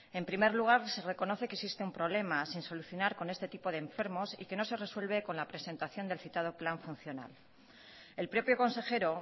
en primer lugar se reconoce que existe un problema sin solucionar con este tipo de enfermos y que no se resuelve con la presentación del citado plan funcional el propio consejero